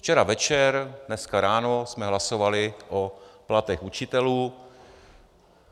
Včera večer, dneska ráno jsme hlasovali o platech učitelů.